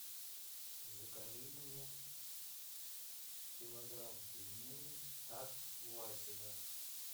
закажи мне килограмм пельменей от васина